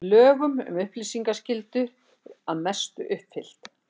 Lög um upplýsingaskyldu að mestu uppfyllt